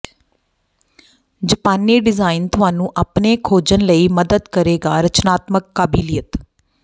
ਜਪਾਨੀ ਡਿਜ਼ਾਇਨ ਤੁਹਾਨੂੰ ਆਪਣੇ ਖੋਜਣ ਲਈ ਮਦਦ ਕਰੇਗਾ ਰਚਨਾਤਮਕ ਕਾਬਲੀਅਤ